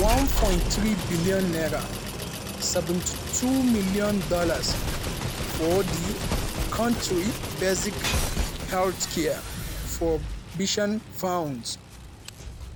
over 1.3 billion naira (72 million dollars) for di kontri basic health care provision fund.